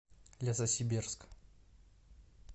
лесосибирск